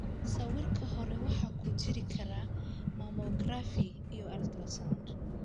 Sawirka hore waxa ku jiri kara mammografi iyo ultrasound.